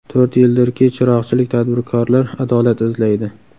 To‘rt yildirki, chiroqchilik tadbirkorlar adolat izlaydi.